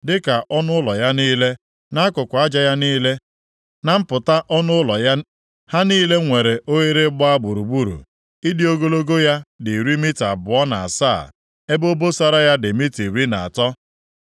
dịka ọnụ ụlọ ya niile, nʼakụkụ aja ya niile, na mpụta ọnụ ụlọ ya, ha niile nwere oghere gbaa gburugburu. Ịdị ogologo ya dị iri mita abụọ na asaa, ebe obosara ya dị mita iri na atọ